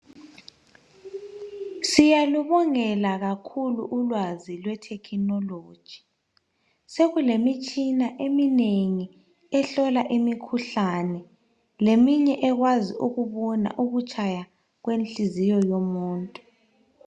Siyalubongela kakhulu ulwazi lwe"technology'.Sokulemitshina eminengi ehlola imikhuhlane leminye ekwazi ukubona ukutshaya kwenhliziyo yomuntu.